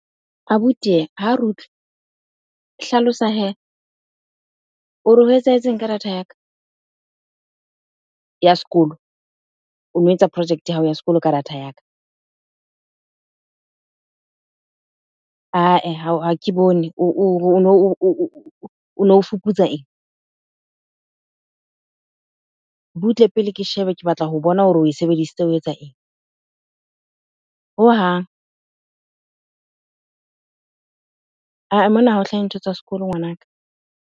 Abuti ha re utlwe. Hlalosa hee, o re ho etsahetseng ka data ya ka ya sekolo? O no etsa project ya hao ya sekolo ka data ya ka. Ha ke bone o no fuputsa eng? Butle pele ke shebe ke batla ho bona hore oe sebedisitse o etsa eng? Hohang mona ha o hlahe ntho tsa sekolo ngwanaka.